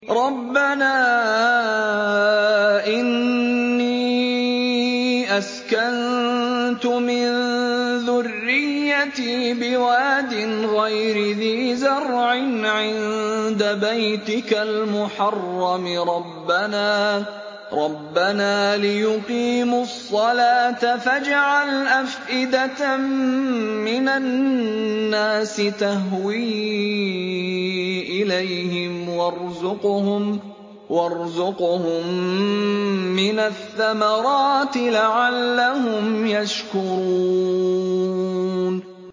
رَّبَّنَا إِنِّي أَسْكَنتُ مِن ذُرِّيَّتِي بِوَادٍ غَيْرِ ذِي زَرْعٍ عِندَ بَيْتِكَ الْمُحَرَّمِ رَبَّنَا لِيُقِيمُوا الصَّلَاةَ فَاجْعَلْ أَفْئِدَةً مِّنَ النَّاسِ تَهْوِي إِلَيْهِمْ وَارْزُقْهُم مِّنَ الثَّمَرَاتِ لَعَلَّهُمْ يَشْكُرُونَ